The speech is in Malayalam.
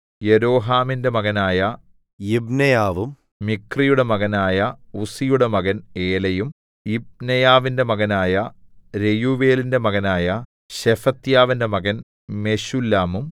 യെരോഹാമിന്റെ മകനായ യിബ്നെയാവും മിക്രിയുടെ മകനായ ഉസ്സിയുടെ മകൻ ഏലയും യിബ്നെയാവിന്റെ മകനായ രെയൂവേലിന്റെ മകനായ ശെഫത്യാവിന്റെ മകൻ മെശുല്ലാമും